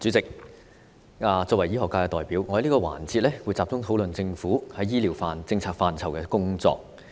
主席，作為醫學界代表，我在這個環節會集中討論政府在醫療政策範疇的工作。